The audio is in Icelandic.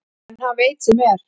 En hann veit sem er.